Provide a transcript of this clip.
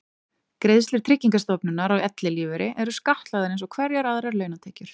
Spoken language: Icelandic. greiðslur tryggingastofnunar á ellilífeyri eru skattlagðar eins og hverjar aðrar launatekjur